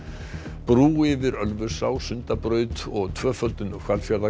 brú yfir Ölfusá Sundabraut og tvöföldun Hvalfjarðarganga